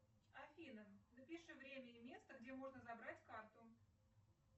афина напиши время и место где можно забрать карту